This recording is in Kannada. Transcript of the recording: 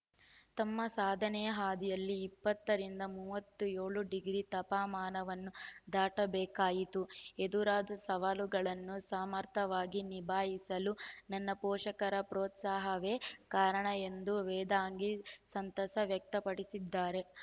ತಮ್ಮ ಸಾಧನೆಯ ಹಾದಿಯಲ್ಲಿ ಇಪ್ಪತ್ತು ರಿಂದ ಮೂವತ್ತ್ ಏಳು ಡಿಗ್ರಿ ತಪ ಮಾನವನ್ನು ದಾಟಬೇಕಾಯಿತು ಎದುರಾದ ಸವಾಲುಗಳನ್ನು ಸಮರ್ಥವಾಗಿ ನಿಭಾಯಿಸಲು ನನ್ನ ಪೋಷಕರ ಪ್ರೋತ್ಸಾಹವೇ ಕಾರಣ ಎಂದು ವೇದಾಂಗಿ ಸಂತಸ ವ್ಯಕ್ತಪಡಿಸಿದ್ದಾರೆ